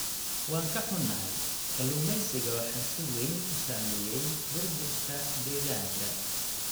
Waan ka xunnahay, kalluumeysiga waxaa si weyn u saameeyay burburka deegaanka.